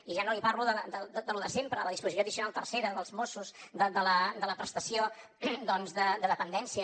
i ja no li parlo de lo de sempre de la disposició addicional tercera dels mossos de la prestació doncs de dependència